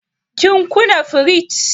Kin kuna firij?